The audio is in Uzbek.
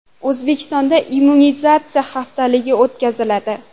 O‘zbekistonda immunizatsiya haftaligi o‘tkaziladi.